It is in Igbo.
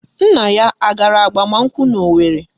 Nna ya a gara agbamakwụkwọ n'Owerre?